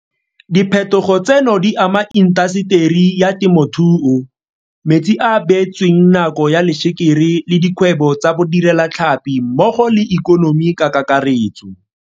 Diphetogo tseno di ama intaseteri ya temothuo, metsi a a beetsweng nako ya lešekere le dikgwebo tsa bodirelatlhapi mmogo le ikonomi ka kakaretso.